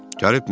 Gəlibmi?